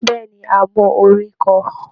Bẹ́ẹ̀ ni, a mọ orin kọ